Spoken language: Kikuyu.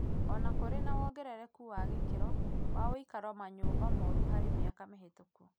O na kũrĩ na wongerereku wa gĩkĩro wa ũikarowa manyũmba moru harĩ mĩaka mĩhĩtũku